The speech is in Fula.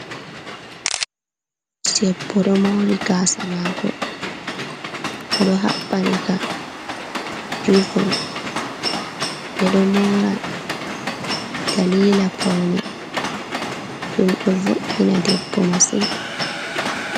Debbo ɗo moori gaasa maako, o ɗo haɓɓani ka ribom, ɓe ɗo moora daliila pawne, ɗum ɗo vo’’ina debbo masin.